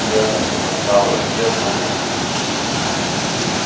дзэта-потенциал растёт но медленно